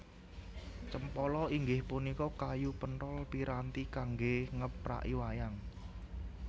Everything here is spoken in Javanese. Cempala inggih punika kayu penthol piranti kanggé ngepraki wayang